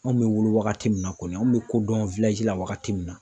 Anw bɛ wolo waagati min na kɔni an bɛ ko dɔn la waagati min na.